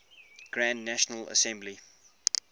grand national assembly